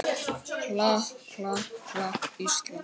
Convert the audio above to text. klapp, klapp, klapp, Ísland!